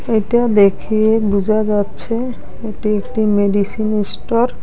এইটা দেখে বুঝা যাচ্ছে এটি একটি মেডিসিন ইস্টর ।